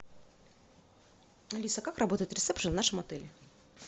алиса как работает ресепшн в нашем отеле